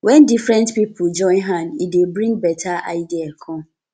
when different pipo join hand e dey bring better idea come